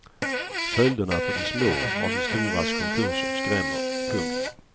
Följderna för de små av de storas konkurser skrämmer. punkt